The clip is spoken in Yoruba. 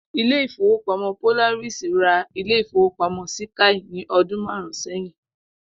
Ilé ìfowópamó̩ Polaris ra ilé ìfowópamó̩ síkáì ní o̩dún márùn-ún sé̩yìn